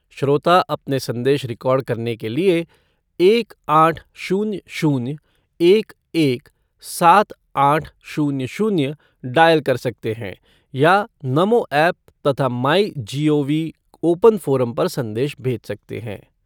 श्रोता अपने संदेश रिकॉर्ड करने के लिए एक आठ शून्य शून्य एक एक सात आठ शून्य शून्य डायल कर सकते हैं या नमो ऐप तथा my G O V open forum पर संदेश भेज सकते हैं।